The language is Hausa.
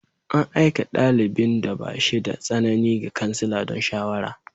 An aika dalibin da ba shi da tsanani ga kansila don shawara.